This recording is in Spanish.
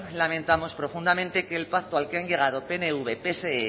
lamentamos profundamente que el pacto al que han llegado pnv pse